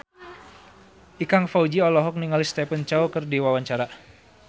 Ikang Fawzi olohok ningali Stephen Chow keur diwawancara